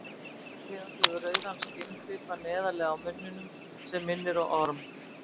þessi tegund hefur rauðan skinnflipa neðarlega í munninum sem minnir á orm